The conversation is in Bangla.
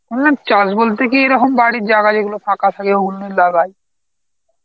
চাষ বলতে কি এরকম বাড়ির জাগা যেগুলো ফাঁকা থাকে ওগুনি লাগায়.